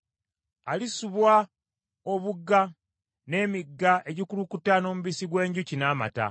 Alisubwa obugga, n’emigga egikulukuta n’omubisi gw’enjuki n’amata.